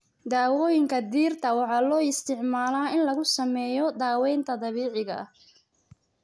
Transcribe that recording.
Daawooyinka dhirta waxaa loo isticmaalaa in lagu sameeyo daaweynta dabiiciga ah.